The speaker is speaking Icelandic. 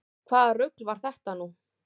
Hvaða rugl var þetta nú?